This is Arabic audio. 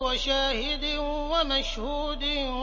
وَشَاهِدٍ وَمَشْهُودٍ